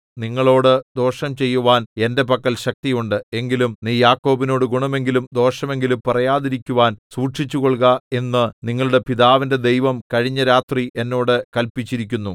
നിങ്ങളോട് ദോഷം ചെയ്യുവാൻ എന്റെ പക്കൽ ശക്തിയുണ്ട് എങ്കിലും നീ യാക്കോബിനോടു ഗുണമെങ്കിലും ദോഷമെങ്കിലും പറയാതിരിക്കുവാൻ സൂക്ഷിച്ചുകൊൾക എന്നു നിങ്ങളുടെ പിതാവിന്റെ ദൈവം കഴിഞ്ഞ രാത്രി എന്നോട് കല്പിച്ചിരിക്കുന്നു